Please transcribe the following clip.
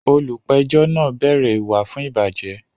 Olùpẹ̀jọ́ náà bẹ̀rẹ̀ ìwà fún ìbàjẹ́